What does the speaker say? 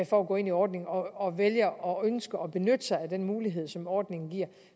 for at gå ind i ordningen og vælger og ønsker at benytte sig af den mulighed som ordningen giver